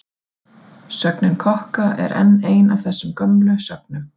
Sögnin kokka er enn ein af þessum gömlu sögnum.